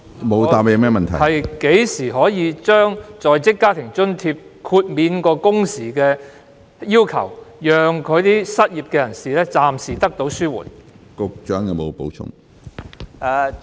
我剛才問局長，何時可以豁免在職家庭津貼的工時要求，以紓緩失業人士的經濟壓力？